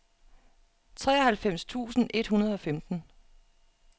treoghalvfems tusind et hundrede og femten